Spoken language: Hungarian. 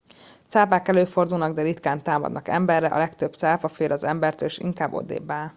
cápák előfordulnak de ritkán támadnak emberre a legtöbb cápa fél az embertől és inkább odébbáll